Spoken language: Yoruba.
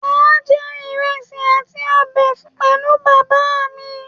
Màa jẹ ìrẹsì àti ọbẹ pẹ̀lú bàbá mí